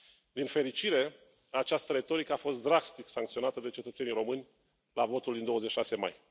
Din fericire, această retorică a fost drastic sancționată de cetățenii români la votul din 26 mai.